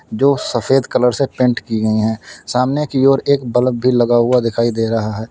जो सफेद कलर से पेंट की गई हैं। सामने की ओर एक बलब भी लगा हुआ दिखाई दे रहा है।